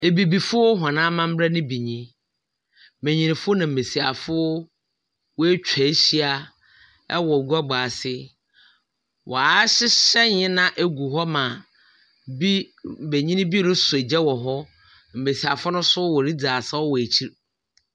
Ebibifo hɔn amamber no bi nyi. Mbenyinfo na mbesiafo woetwa ehyia wɔ guabɔ ase. Wɔahyehyɛ ndzɛmba gu hɔ ma bi benyin bi rosɔ gya wɔ ho. Mbesiafo no nso woridzi asaw wɔ ekyir.